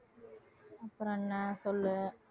அப்புறம் என்ன சொல்லு